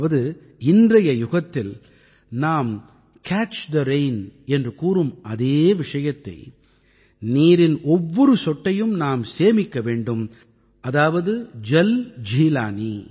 அதாவது இன்றைய யுகத்தில் நாம் கேட்ச் தே ரெயின் என்று கூறும் அதே விஷயத்தை நீரின் ஒவ்வொரு சொட்டையும் நாம் சேமிக்க வேண்டும் அதாவது ஜல் ஜீலனீ